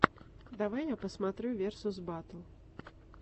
давай я посмотрю версус баттл